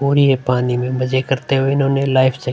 और ये पानी में मजे करते हुए उन्होंने लाइफ --